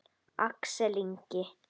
Axel Ingi.